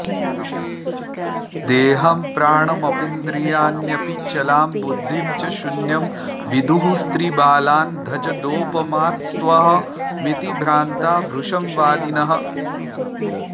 देहं प्राणमपीन्द्रियाण्यपि चलां बुद्धिं च शून्यं विदुः स्त्रीबालान्धजडोपमास्त्वहमिति भ्रान्ता भृशं वादिनः